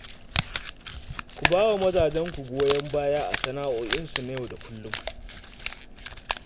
Ku ba wa mazajenku goyon baya a sana'o'insu na yau da kullum